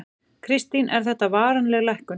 Kristín: Er þetta varanleg lækkun?